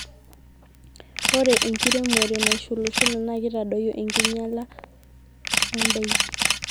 ore enkiremore nashulushula naa keitadoyio enkinyiala o ndaiki